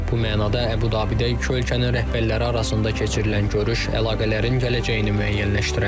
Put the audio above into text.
Bu mənada Əbu Dabidə iki ölkənin rəhbərləri arasında keçirilən görüş əlaqələrin gələcəyini müəyyənləşdirə bilər.